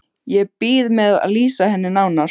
Ég bíð með að lýsa henni nánar.